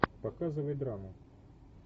показывай драму